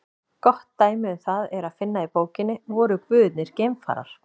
Gott dæmi um það er að finna í bókinni Voru guðirnir geimfarar?